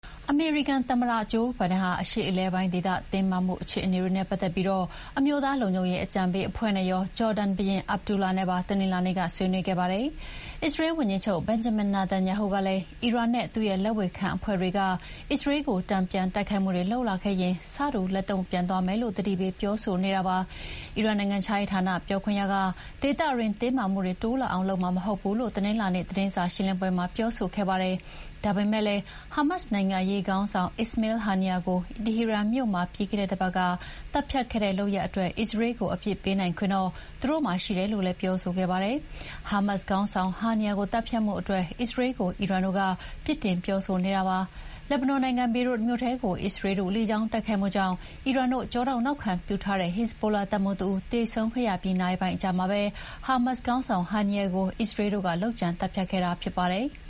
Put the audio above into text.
အမေရိကန် သမ္မတဂျိုးဘိုင်ဒန်ဟာ အရှေ့အလယ်ပိုင်းဒေသ တင်းမာမှုတွေနဲ့ပတ်သက်ပြီး အမျိုးသား လုံခြုံရေးအကြံပေးအဖွဲ့နဲ့ရော ဂျော်ဒန်ဘုရင် Abdullah နဲ့ပါ တနင်္လာနေ့က ဆွေးနွေးခဲ့ပါတယ်။ အစ္စရေးဝန်ကြီးချုပ် Benjamin Netanyahu ကလည်း အီရန်နဲ့ သူ့ရဲ့လက်ဝေခံအဖွဲ့တွေကအစ္စရေးကို တန်ပြန်တိုက်ခိုက်လာခဲ့ရင် ဆတူလက်တုံ့ပြန်သွားမယ်လို့ သတိပေးပြောဆိုနေတာပါ။ အီရန်နိုင်ငံခြားရေးဌာန ပြောခွင့်ရက ဒေသတွင်းတင်းမာမှုတွေတိုးလာအောင် လုပ်မှာမဟုတ်ဘူးလို့ တနင်္လာနေ့သတင်းစာရှင်းလင်းပွဲမှာ ပြောဆိုခဲ့ပါတယ်။ ဒါပေမယ့်လည်း ဟာမတ်စ်နိုင်ငံရေး ခေါင်းဆောင် Ismail Haniyeh ကို တီဟီရန်မြို့မှာ ပြီးခဲ့တဲ့တပတ်က သတ်ဖြတ်ခဲ့တဲ့လုပ်ရပ်အတွက် အစ္စရေးလ်ကို အပြစ်ပေးနိုင်ခွင့်တော့ သူတို့မှာရှိတယ်လို့လည်း ပြောဆိုခဲ့ပါတယ်။ ဟာမတ်စ်ခေါင်းဆောင် Haniyeh ကိုသတ်ဖြတ်မှုအတွက် အစ္စရေးလ်ကို အီရန်တို့က ပြစ်တင် ပြောနေတာဖြစ်ပါတယ်။ လက်ဘနွန်နိုင်ငံ ဘေရွတ်မြို့ထဲကို အစ္စရေးလ်တို့ လေကြောင်း တိုက်ခိုက်မှု ကြောင့် အီရန်တို့ကျောထောက်နောက်ခံပြုထားတဲ့ ဟက်ဇ်ဘိုလာတပ်မှူးတဦးသေဆုံးခဲ့ရပြီး နာရီပိုင်းအကြာမှာပဲ ဟာမတ်စ်ခေါင်းဆောင် Haniyeh ကို အစ္စရေးလ်တို့ လုပ်ကြံသတ်ဖြတ်ခဲ့တာဖြစ်ပါတယ်။